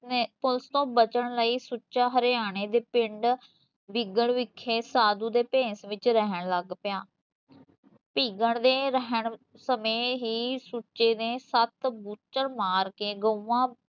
police ਤੋਂ ਬਚਨ ਲਈ ਸੁੱਚਾ ਹਰਿਆਣੇ ਦੇ ਪਿੰਡ ਬਿਗੜ ਵਿਖੇ ਸਾਧੂ ਦੇ ਭੇਸ ਵਿੱਚ ਰਹਿਣ ਲੱਗ ਪਿਆ ਧੀਗਣ ਦੇ ਰਹਿਣ ਸਮੇ ਹੀਂ ਸੁੱਚੇ ਨੇ ਸੱਤ ਬੁਚੜ ਮਾਰ ਕੇ ਗਊਆ